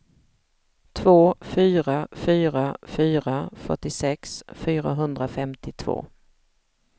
två fyra fyra fyra fyrtiosex fyrahundrafemtiotvå